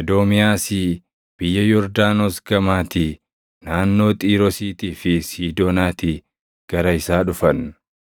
Edoomiyaasii, biyya Yordaanos gamaatii, naannoo Xiiroosiitii fi Siidoonaatii gara isaa dhufan.